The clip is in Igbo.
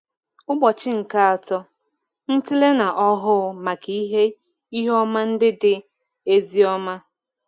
Ụbọchị nke Atọ – Ntịle na Ọhụụ Maka Ihe Ihe Ọma Ndị Dị Ezi Ọma